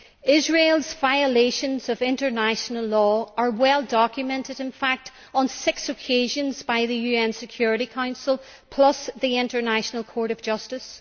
Israel's violations of international law have been well documented on six occasions, in fact by the UN Security Council plus the International Court of Justice.